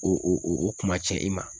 O o o o kumatiɲɛ i ma